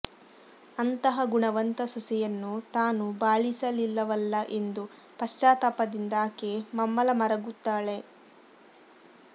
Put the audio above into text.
ಅಂತಹ ಗುಣವಂತ ಸೊಸೆಯನ್ನು ತಾನು ಬಾಳಿಸಲಿಲ್ಲವಲ್ಲಾ ಎಂದು ಪಶ್ಚಾತ್ತಾಪದಿಂದ ಆಕೆ ಮಮ್ಮಲ ಮರುಗುತ್ತಾಳೆ